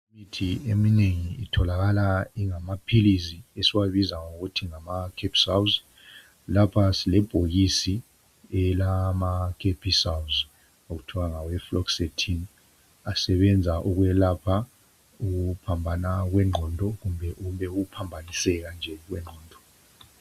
Imithi eminengi itholakala ingamapills esikubiza kuthiwe ngamacapsules lapha silebhokisi elama Capsules okuthwa ngawe Fluexetine asebenza ukuyelapha ukuphambana kwengqondo kumbe ukuphaniseka nje okwengqondo